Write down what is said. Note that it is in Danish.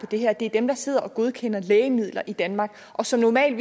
det her er dem der sidder og godkender lægemidler i danmark og som normalt